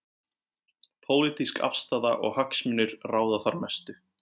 Pólitísk afstaða og hagsmunir ráða þar mestu.